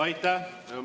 Aitäh!